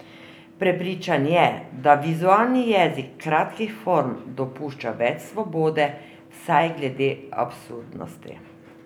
Prepričan je, da vizualni jezik kratkih form dopušča več svobode, vsaj glede absurdnosti.